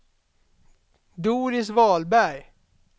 Doris Wahlberg